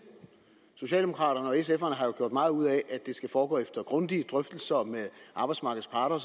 socialdemokraterne og sf har jo gjort meget ud af at det skal foregå efter grundige drøftelser med arbejdsmarkedets parter